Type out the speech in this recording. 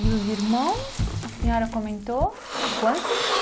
E os irmãos, a senhora comentou, quantos?